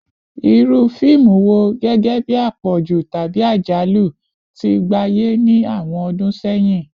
Iru fiimu wo, gẹgẹbi apọju tabi ajalu, ti gbaye ni awọn ọdun sẹyin?